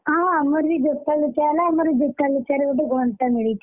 ହଁ ଆମର ବି ଜୋତା ଲୁଚା ହେଲା ଆମର ଜୋତା ଲୁଚାରେ ଗୋଟେ ଘଣ୍ଟା ମିଳିଛି!